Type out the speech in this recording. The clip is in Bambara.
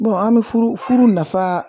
an bɛ furu nafa